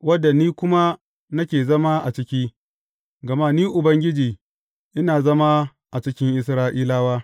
wadda ni kuma nake zama a ciki, gama Ni Ubangiji, ina zama a cikin Isra’ilawa.